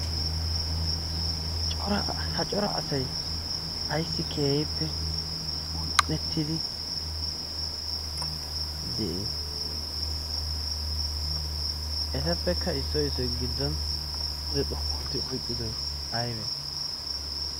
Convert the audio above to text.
ha cora asay ayssi keehippe un'ettidi d etappekka issoy issoy giddon kude xoqqu ootti oyqqi?